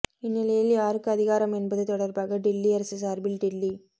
இந்நிலையில் யாருக்கு அதிகாரம் என்பது தொடர்பாக டில்லி அரசு சார்பில் டில்லி